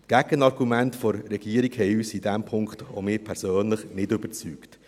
Die Gegenargumente haben uns – auch mich persönlich – in diesem Punkt nicht überzeugt.